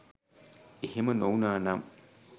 එහෙම නොවුනා නම්